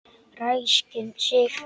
Ræskir sig.